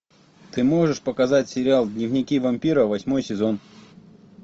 ты можешь показать сериал дневники вампира восьмой сезон